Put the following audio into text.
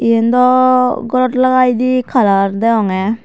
iyan daw gorot lagaidey colour deyongey.